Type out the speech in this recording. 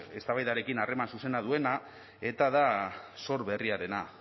eztabaidarekin harreman zuzena duena eta da zor berriarena